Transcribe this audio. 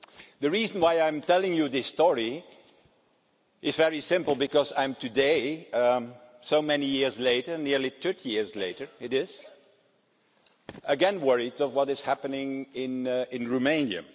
The reason why I'm telling you this story is very simple, because today, so many years later nearly 30 years later I am again worried about what is happening in Romania.